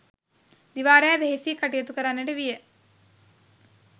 දිවා රෑ වෙහෙසී කටයුතු කරන්නට විය.